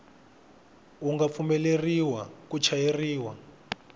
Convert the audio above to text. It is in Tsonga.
wu nga pfumeleriwa ku chayeriwa